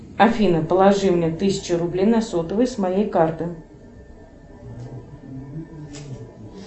афина положи мне тысячу рублей на сотовый с моей карты